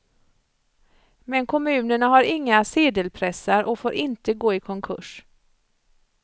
Men kommunerna har inga sedelpressar och får inte gå i konkurs.